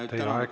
Teie aeg!